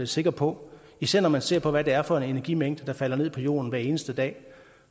sikker på især når man ser hvad det er for en energimængde der falder ned på jorden hver eneste dag